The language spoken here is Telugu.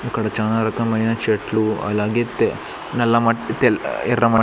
ఇక్కడ చానా రకమైన చెట్లు అలాగే తే నల్ల మట్టి తేల్ల ఎర్ర మట్ --